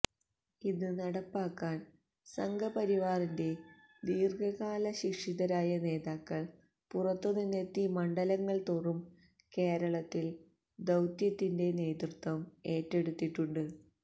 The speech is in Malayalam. ഇത് നടപ്പാക്കാൻ സംഘ് പരിവാറിന്റെ ദീർഘകാല ശിക്ഷിതരായ നേതാക്കൾ പുറത്തുനിന്നെത്തി മണ്ഡലങ്ങൾതോറും കേരളത്തിൽ ദൌത്യത്തിന്റെ നേതൃത്വം ഏറ്റെടുത്തിട്ടുണ്ട്